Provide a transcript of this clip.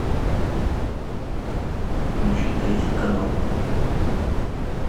включи третий канал